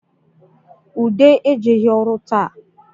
Ude ejeghi ọrụ taa